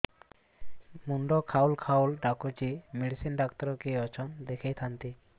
ମୁଣ୍ଡ ଖାଉଲ୍ ଖାଉଲ୍ ଡାକୁଚି ମେଡିସିନ ଡାକ୍ତର କିଏ ଅଛନ୍ ଦେଖେଇ ଥାନ୍ତି